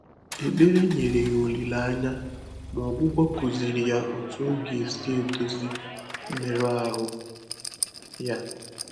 Ékpèré nyèrè yá ólílé ányá, mà ọ́gwụ́gwọ́ kụ́zị̀rị̀ yá ótú ọ́ gà-èsí èdózí mmérụ́ áhụ́ yá.